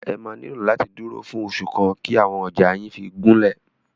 Ẹ máa nílò láti dúró fún oṣù kan kí àwọn ọjà yín fí gúnlẹ̀.